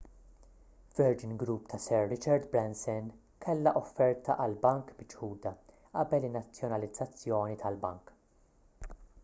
virgin group ta' sir richard branson kellha offerta għall-bank miċħuda qabel in-nazzjonalizzazzjoni tal-bank